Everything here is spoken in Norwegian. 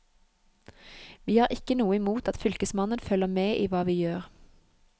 Vi har ikke noe imot at fylkesmannen følger med i hva vi gjør.